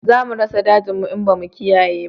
Za mu rasa dajin mu in ba mu kiyaye ba